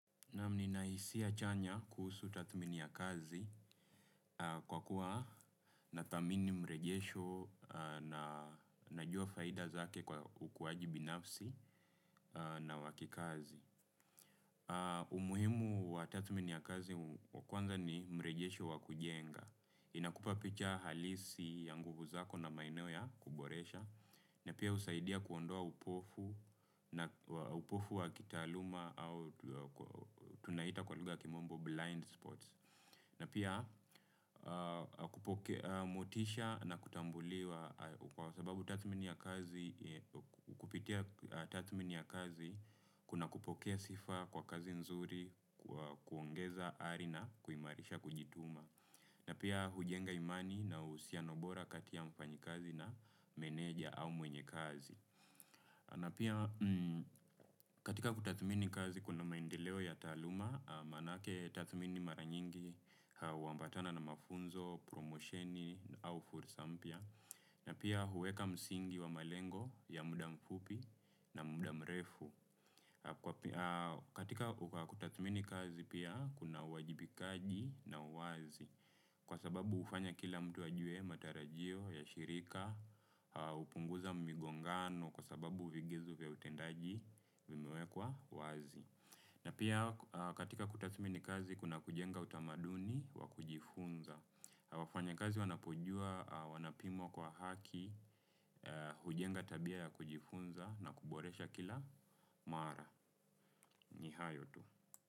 Naam nina hisia chanya kuhusu tadhmini ya kazi kwa kuwa nadhamini mrejesho na najua faida zake kwa ukuwaji binafsi na wakikazi. Umuhimu wa tadhmini ya kazi wa kwanza ni mrejesho wa kujenga. Inakupa picha halisi ya nguvu zako na maeneo ya kuboresha. Na pia husaidia kuondoa upofu wa kitaaluma au tunaita kwa lugha ya kimombo blind spots. Na pia kupokea motisha na kutambuliwa kwa sababu tadhmini ya kazi, kuna kupokea sifa kwa kazi nzuri, kuongeza arina, kuimarisha, kujituma. Na pia hujenga imani na uhusiano bora katika mfanyi kazi na meneja au mwenye kazi. Na pia katika kutathmini kazi kuna maendeleo ya taaluma, manake tathmini mara nyingi huambatana na mafunzo, promosheni au fursa mpya. Na pia huweka msingi wa malengo ya muda mfupi na muda mrefu. Katika kutathmini kazi pia kuna wajibikaji na uwazi. Kwa sababu hufanya kila mtu ajwe matarajio ya shirika, hupunguza mgongano kwa sababu uvigizu vya utendaji vimewekwa wazi. Na pia katika kutathmini kazi kuna kujenga utamaduni wa kujifunza. Wafanyakazi wanapojua wanapimwa kwa haki, hujenga tabia ya kujifunza na kuboresha kila mara. Ni hayo tu.